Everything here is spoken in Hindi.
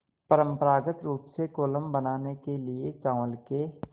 परम्परागत रूप से कोलम बनाने के लिए चावल के